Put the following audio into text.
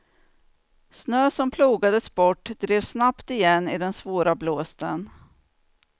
Snö som plogades bort drev snabbt igen i den svåra blåsten.